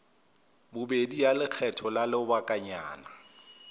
bobedi ya lekgetho la lobakanyana